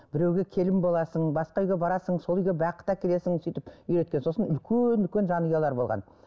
біреуге келін боласың басқа үйге барасың сол үйге бақыт әкелесің сөйтіп үйреткен сосын үлкен үлкен жанұялар болған